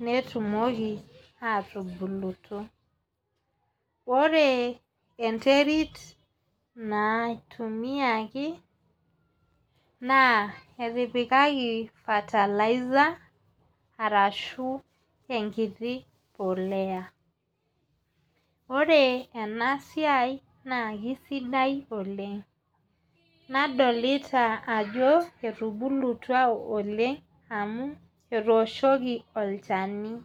netumoki atubulutu. Ore enterit naitumiaki naa etipikaki fertilizer arashu enkiti poleya. Ore ena siai na kisidai oleng'. Nadolita ajo etubulutua oleng' amu etoshoki olchani.